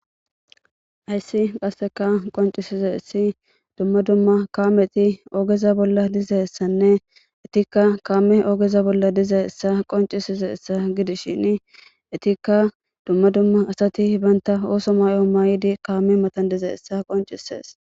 Hayssi qasseka qoncisize essi dumma dumma kaameti oogeza bolla dize essanne itikka kaame oogeza bolla diza essa qoncisize essa gidishin itikka dumma dumma asati baynta ooso may7o maaydi kaame matan dize essa qoncisees